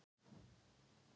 En amma var líka sæt.